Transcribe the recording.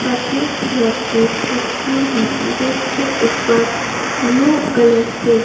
सफेद कलर के तकिए हैं जिसके ऊपर ब्लू कलर से--